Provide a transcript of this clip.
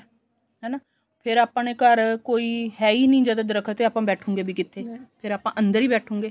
ਹਨਾ ਫੇਰ ਆਪਾਂ ਨੇ ਘਰ ਕੋਈ ਹੈ ਹੀ ਨੀ ਜਦ ਦਰੱਖਤ ਆਪਾਂ ਬੈਠੁਗੇ ਵੀ ਕਿੱਥੇ ਫੇਰ ਆਪਾਂ ਅੰਦਰ ਈ ਬੈਠੁਗੇ